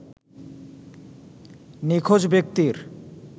নিখোঁজ ব্যক্তির